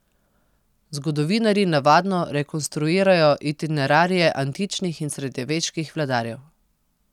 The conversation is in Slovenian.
Zgodovinarji navadno rekonstruirajo itinerarije antičnih in srednjeveških vladarjev.